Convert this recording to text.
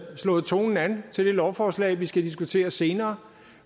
slået tonen an til det lovforslag vi skal diskutere senere